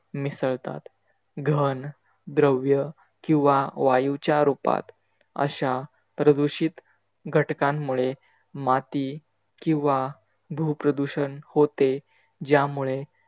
मिसळतात. घन, द्रव्य किवा वायूच्या रुपात अशा प्रदूषित घटकांमुळे माती किवा भूप्रदुषण होते ज्यामुळे